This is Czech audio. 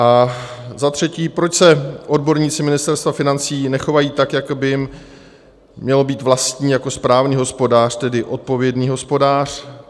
- A za třetí, proč se odborníci Ministerstva financí nechovají tak, jak by jim mělo být vlastní, jako správný hospodář, tedy odpovědný hospodář?